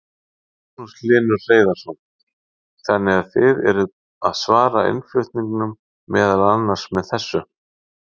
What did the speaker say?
Magnús Hlynur Hreiðarsson: Þannig að þið eruð að svara innflutningnum meðal annars með þessu?